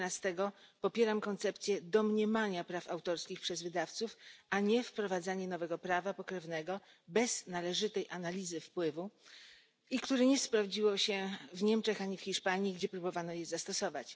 11 popieram koncepcję domniemania praw autorskich przez wydawców, a nie wprowadzanie nowego prawa pokrewnego bez należytej analizy wpływu i które nie sprawdziło się ani w Niemczech, ani w Hiszpanii, gdzie próbowano je zastosować.